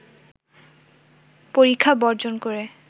পরীক্ষা বর্জন করে